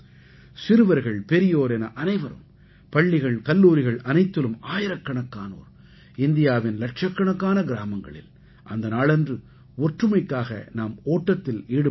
சிறுவர்கள் பெரியோர் என அனைவரும் பள்ளிகள் கல்லூரிகள் அனைத்திலும் ஆயிரக்கணக்கானோர் இந்தியாவின் இலட்சக்கணக்கான கிராமங்களில் அந்த நாளன்று ஒற்றுமைக்காக நாம் ஓட்டத்தில் ஈடுபட வேண்டும்